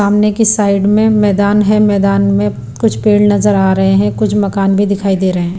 सामने की साइड में मैदान है मैदान में कुछ पेड़ नजर आ रहे हैं कुछ मकान भी दिखाई दे रहे हैं।